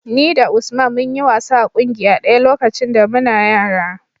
Ni da Usman mun yi wasa a ƙungiya ɗaya lokacin da muna yara.